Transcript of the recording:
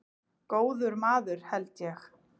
Góður maður held ég.